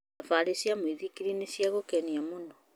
Thabarĩ cia mũithikiri nĩ cia gũkenia mũno.